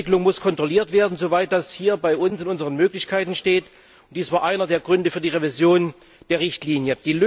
Diese Entwicklung muss kontrolliert werden, soweit das im Bereich unserer Möglichkeiten liegt. Und dies war einer der Gründe für die Revision der Richtlinie.